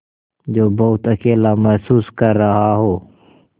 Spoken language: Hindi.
जो बहुत अकेला महसूस कर रहा हो